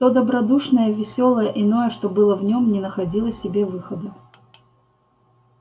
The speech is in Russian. то добродушное весёлое иное что было в нём не находило себе выхода